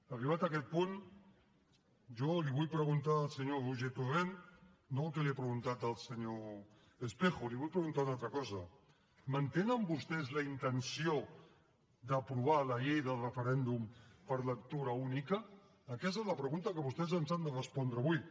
arribat aquest punt jo li vull preguntar al senyor roger torrent no el que li ha preguntat el senyor espejo li vull preguntar una altra cosa mantenen vostès la intenció d’aprovar la llei del referèndum per lectura única aquesta és la pregunta que vostès ens han de respondre avui